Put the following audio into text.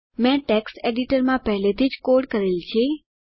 મેં ટેક્સ્ટ એડિટરમાં પહેલેથી જ કોડ કરેલ છે